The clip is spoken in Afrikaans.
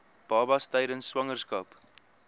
babas tydens swangerskap